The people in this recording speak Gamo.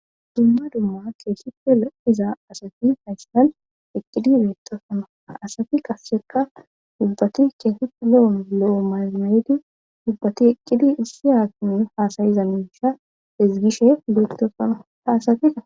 dumma dumma keessife o iza asati hayssan eqqidi beettofano asati qassheka dubbati keeseti lo7on lo7o maymayedi dubbati eqqidi issi aanun haasayiza nunsha hizgishe geettofano haasatika